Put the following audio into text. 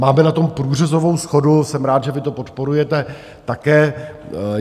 Máme na tom průřezovou shodu, jsem rád, že vy to podporujete také.